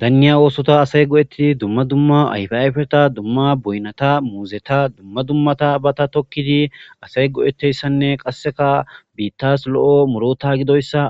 Daniya othuwa asay go'etidi dumma dumma asay dumma ayfeta mangota muzeta dumma dumma tabata tokidi asay go'etizaysanne asay bittas lo'o muruta